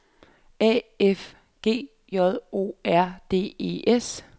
A F G J O R D E S